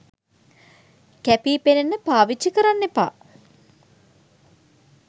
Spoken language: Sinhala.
කැපී පෙනෙන්න පාවිච්චි කරන්න එපා.